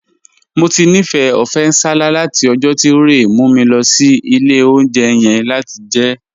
Mo ti nifẹ ọfẹ̀ nsálà̀ lati ọ̀jọ̀ ti Rẹ̀ mu mi lọ sí ilẹ̀ ọ̀unjẹ̀ yẹn lati jẹ ẹ.